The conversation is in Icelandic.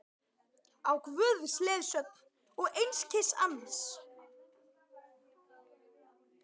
Á Guðs leiðsögn og einskis annars!